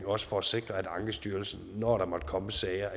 også for at sikre at ankestyrelsen når der måtte komme sager